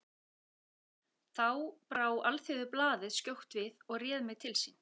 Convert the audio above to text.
Þá brá Alþýðublaðið skjótt við og réð mig til sín.